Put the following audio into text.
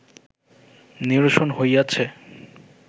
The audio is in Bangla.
নিরসন হইয়াছে